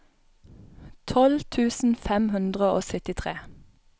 tolv tusen fem hundre og syttitre